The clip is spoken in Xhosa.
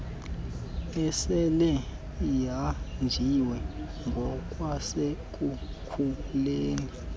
esele ihanjiwe ngokwasekukhuleni